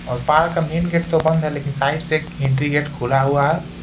और पार का मेन गेट तो बंद है लेकिन साइड से एंट्री गेट खुला हुआ है।